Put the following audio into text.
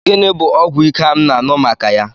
Gịnị bụ ọgwụ ike a m na-anụ maka ya?